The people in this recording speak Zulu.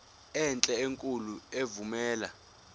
enhle enkulu evumela